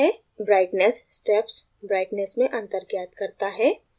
brightness steps brightness में अंतर ज्ञात करता है